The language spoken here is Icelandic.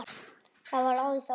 Þá var ráðist á mig.